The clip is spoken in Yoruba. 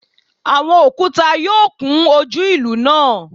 Awọn okuta yoo kun oju ilu naa